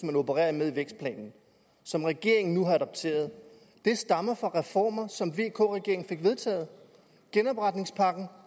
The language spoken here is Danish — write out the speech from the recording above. man opererede med i vækstplanen som regeringen nu har adopteret stammer fra reformer som vk regeringen fik vedtaget genopretningspakken